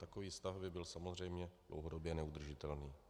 Takový stav by byl samozřejmě dlouhodobě neudržitelný.